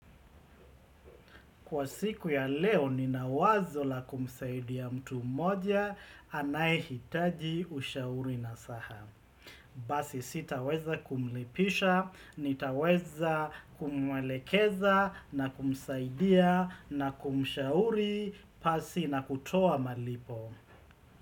Kwa siku ya leo ninawazo la kumsaidia mtu mmoja anai hitaji ushauri na sahamu. Basi sitaweza kumlipisha, nitaweza kumwelekeza na kumsaidia na kumshauri pasi na kutoa malipo.